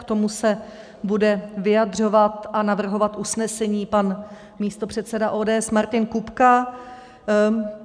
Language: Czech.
K tomu se bude vyjadřovat a navrhovat usnesení pan místopředseda ODS Martin Kupka.